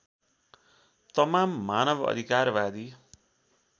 तमाम मानव अधिकारवादी